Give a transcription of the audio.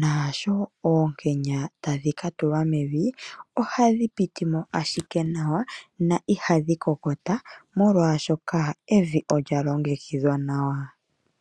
naashooonkenya tadhi ka tulwa mevi ohadhi piti mo ashike nawa noihadhi kokotwa, molwashoka evi olya longekidhwa nawa.